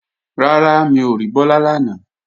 Rárá, mi ò rí Bọ́lá lánàá